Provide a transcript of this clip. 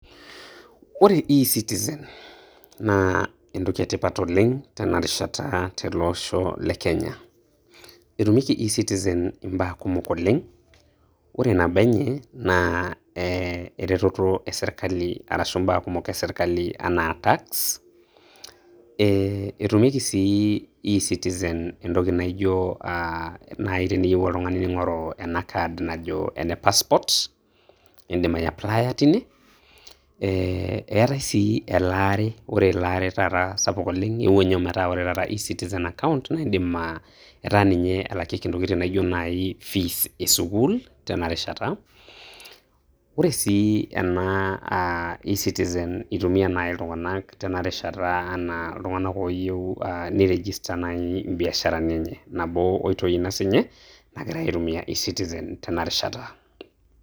Ore e-citizen naa entoki etipat oleng' teinarishata te le osho le Kenya. Etumieki e-citizen imbaa kumok oleng'. Ore nabo enye, naa eh ereteto esirkali arashu imbaa kumok esirkali enaa tax. Etumieki si e-citizen entoki naijo ah nai teneyieu oltung'ani ning'oru ena kad najo ene passport, iidim aiapplia teine. Eh eetae si elaare, Ore elaare taata sapuk oleng' eewuo nye metaa Ore e-citizen account naidim ah etaa ninye elakieki ntokitin naijo nai fees e sukuul tena rishata. Ore sii ena ah e-citizen itumia naake iltung'anak tenarishata enaa iltung'anak ooyieu ah ni register nai ibiasharani enye. Nabo oitoi ina sinye nagirai aitumia e-citizen tenarishata.